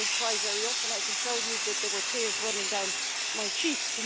I don't cry very often, I can tell you, but there were tears running down my cheeks.